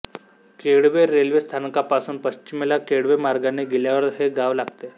Kelve railway स्थानकापासून पश्चिमेला केळवे मार्गाने गेल्यावर हे गाव लागते